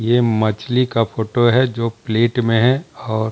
ये मछली का फोटो है जो प्लेट में है और --